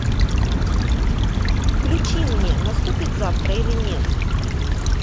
включи мне наступит завтра или нет